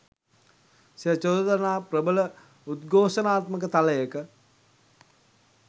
සිය චෝදනා ප්‍රබල උද්ඝෝෂණාත්මක තලයක